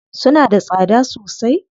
Suna da tsada sosai?